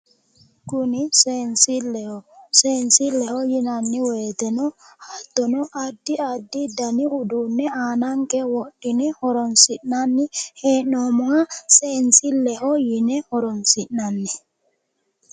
Kuni seensileho, seensileho yinnanni woyte hattono addi addi danni uduune aananke wodhine horoni'nanni hee'noommoha seensileho horonsi'nanni.